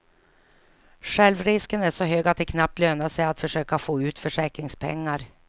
Självrisken är så hög att det knappt lönar sig att försöka få ut försäkringspengar.